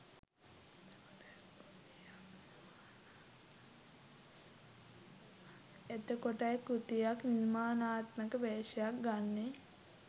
එතකොටයි කෘතියක් නිර්මාණාත්මක වේශයක් ගන්නේ